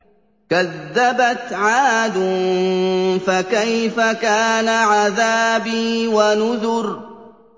كَذَّبَتْ عَادٌ فَكَيْفَ كَانَ عَذَابِي وَنُذُرِ